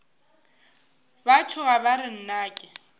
ba tšhoga ba re nnake